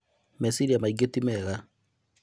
Meciria maingĩ ti mega